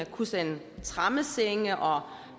kunne sende tremmesenge og